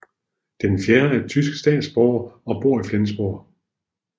Den fjerde er tysk statsborger og bor i Flensborg